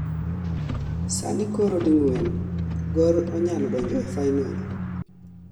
sani koro ding'wen Gor onyalo donjo e final